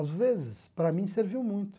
Às vezes, para mim, serviu muito.